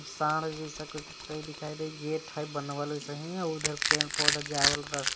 साड़ जाइसा कुछ त दिखाई देई गेट हइ बनावल ओइसहीं आ उधर पेड़-पौधा जाये वाला रस --